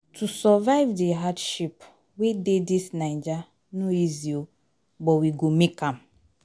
To survive di hardship wey dey dis naija no easy o but we go make am.